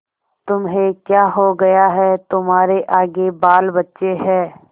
तुम्हें क्या हो गया है तुम्हारे आगे बालबच्चे हैं